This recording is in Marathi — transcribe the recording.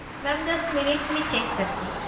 Mam just minute मी check करते.